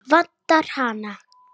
Vantar hana?